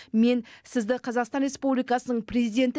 мен сізді қазақстан республикасының президенті